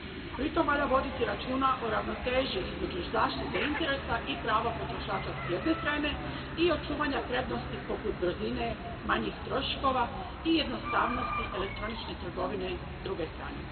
Pritom valja voditi računa o ravnoteži između zaštite interesa i prava potrošača s jedne strane i očuvanja prednosti poput brzine, manjih troškova i jednostavnosti elektronične trgovine s druge strane.